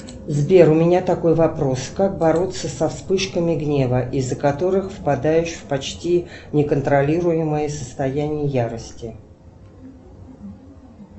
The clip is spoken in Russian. сбер у меня такой вопрос как бороться со вспышками гнева из за которых впадаешь в почти неконтролируемое состояние ярости